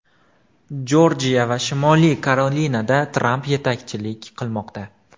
Jorjiya va Shimoliy Karolinada Tramp yetakchilik qilmoqda.